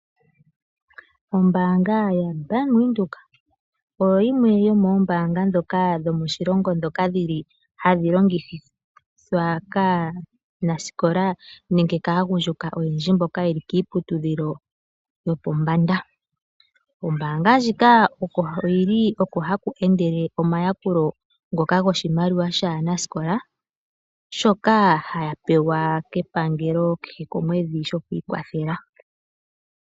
Ombaanga yaBank Windhoek oyo yimwe yomoombaanga dhomoshilongo ndhoka hadhi longithwa kaanasikola nenge kaagundjuka oyendji mboka ye li kiiputudhilo yopombanda. Kombaanga ndjika oko haku endele omayakulo ngoka goshimaliwa shaanasikola shoka haya pewa kepangelo kehe komwedhi shoku ikwathela.